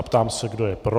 Ptám se, kdo je pro.